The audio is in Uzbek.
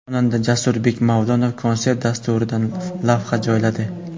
Xonanda Jasurbek Mavlonov konsert dasturidan lavha joyladi.